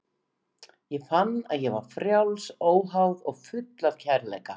Ég fann að ég var frjáls, óháð og full af kærleika.